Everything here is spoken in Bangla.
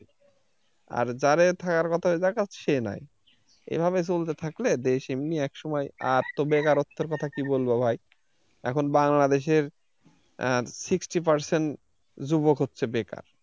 আর যারে থাকার কথা ওই জাগাত সে নাই এভাবে চলতে থাকলে দেশ এমনি একসময় আর তো বেকারত্বের কথা কি বলবো ভাই এখন বাংলাদেশের এর sixty percent যুবক হচ্ছে বেকার।